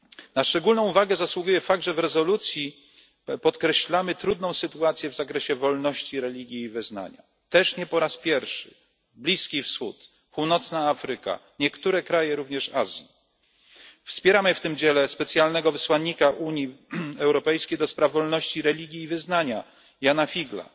Na szczególną uwagę zasługuje fakt, że w rezolucji podkreślamy trudną sytuację w zakresie wolności religii i wyznania. Też nie po raz pierwszy Bliski Wschód, Afryka Północna, również niektóre kraje Azji. Wspieramy w tym dziele specjalnego wysłannika Unii Europejskiej do spraw wolności religii i wyznania Jana Figla.